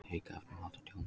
Aukaefni valda tjóni